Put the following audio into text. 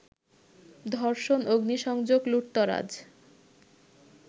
ধর্ষণ, অগ্নিসংযোগ, লুটতরাজ